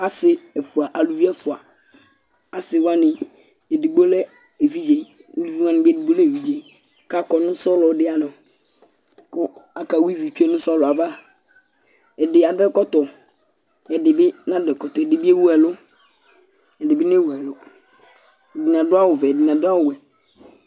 Asi ɛfʋa, alʋvi ɛfʋa Asi wani ɛdigbo lɛ evidze Alʋvi wani bi ɛdigbo lɛ evidze kʋ akɔ nʋ sɔlɔ di anɔ kʋ aka wa ívì nʋ sɔlɔ ava Ɛdí adu ɛkɔtɔ kʋ ɛdí bi nadu ɛkɔtɔ Ɛdí bi ewu ɛlu Ɛdí bi newu ɛlu Ɛdiní adu awu vɛ Ɛdiní adu awu wɛ